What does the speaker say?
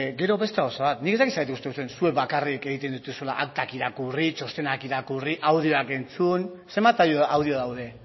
gero beste gauza bat nik ez dakit zergatik uste duzuen zuek bakarrik egiten dituzuela aktak irakurri txostenak irakurri audioak entzun zenbat audio daude